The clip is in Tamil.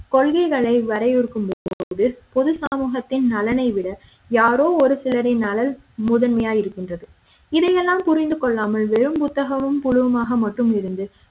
கொள்கைகளை வரையறுக்கும்போது பொது சமூகத்தின் நலனை விட யாரோ ஒரு சிலரின் நலனை முதன்மையாய் இருக்கின்றது இதை யெல்லாம் புரிந்து கொள்ளாமல் வெறும் புத்தகமும் புழுவுமாக மட்டும் இருந்து